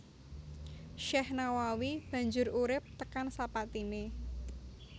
Syekh Nawawi banjur urip tekan sapatine